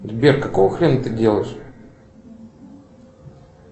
сбер какого хрена ты делаешь